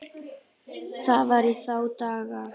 Það var í þá daga!